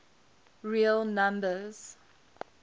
real numbers